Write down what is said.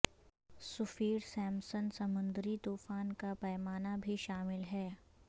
سفیر سمپسن سمندری طوفان کا پیمانہ بھی شامل ہے